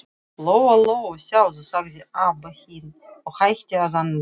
Lóa-Lóa, sjáðu, sagði Abba hin og hætti að anda.